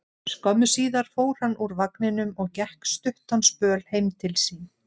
Skömmu síðar fór hann úr vagninum og gekk stuttan spöl heim til sín.